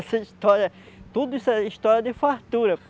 Essa história, tudo isso é história de fartura.